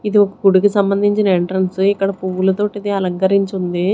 ఇది ఒక గుడికి సంబంధించిన ఎంట్రన్స్ ఇక్కడ పువ్వులతోటి ఇది అలంకరించి ఉంది.